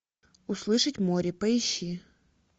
услышать море поищи